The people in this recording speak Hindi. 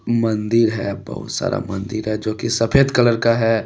मंदिर है बहुत सारा मंदिर है जो की सफेद कलर का है।